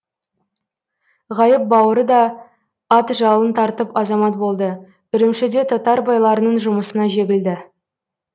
ғайып бауыры да ат жалын тартып азамат болды үрімшіде татар байларының жұмысына жегілді